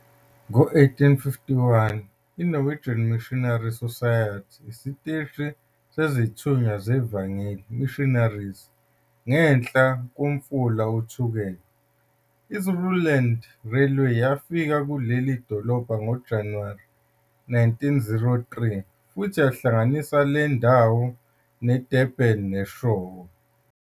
Ngo-1851, i-Norwegian Missionary Society isiteshi sezithunywa zevangeli, Missionaries, ngenhla komfula uThukela. I-Zululand Railway yafika kuleli dolobha ngoJanuwari 1903 futhi yahlanganisa le ndawo neDurban ne-Eshowe.